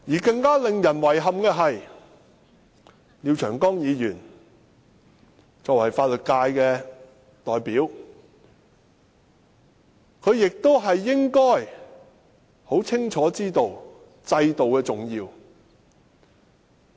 更令人遺憾的是，廖長江議員作為法律界代表，應該清楚知道制度的重要。